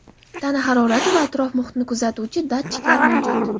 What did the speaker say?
tana harakati va atrof-muhitni kuzatuvchi datchiklar mavjud.